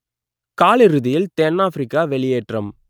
காலிறுதியில் தென்னாப்பிரிக்கா வெளியேற்றம்